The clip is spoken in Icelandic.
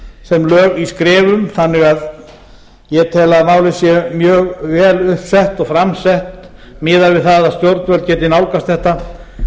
sem lög í skrefum þannig að ég tel að málið sé mjög vel upp sett og fram sett miðað við það að stjórnvöld geti nálgast þetta